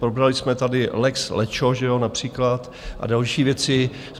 Probrali jsme tady lex lečo, že jo, například, a další věci.